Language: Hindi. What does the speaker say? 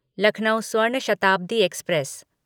लखनऊ स्वर्ण शताब्दी एक्सप्रेस